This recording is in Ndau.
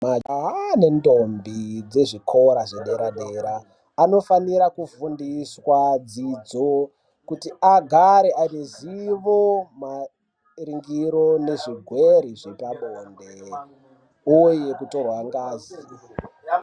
Majaha nendombi dzezvikora zvedera dera anofanira kufundiswa dzidzo kuti agare anezivo maringiri nezvi rwere zvepabode uye kutorwa ngazi.